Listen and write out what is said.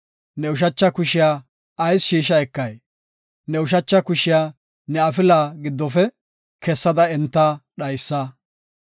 Ne ushacha kushiya ayis shiisha ekay? Ne ushacha kushiya ne afilaa giddofe kessada enta dhaysa.